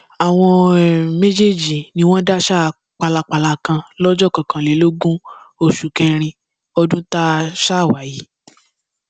àwọn um méjèèjì ni wọn dáṣà pálapàla kan lọjọ kọkànlélógún oṣù kẹrin ọdún tá um a wà yìí